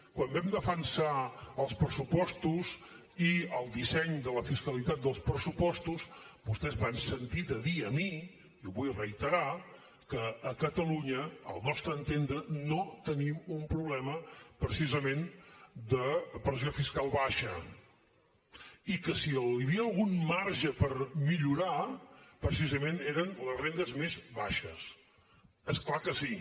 quan vam defensar els pressupostos i el disseny de la fiscalitat dels pressupostos vostès m’han sentit a dir a mi i ho vull reiterar que a catalunya al nostre entendre no tenim un problema precisament de pressió fiscal baixa i que si hi havia algun marge per millorar precisament era en les rendes més baixes és clar que sí